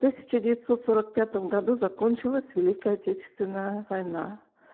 тысяча девятьсот сорок пятом году закончилась великая отечественная война